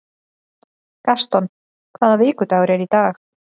Gaston, hvaða vikudagur er í dag?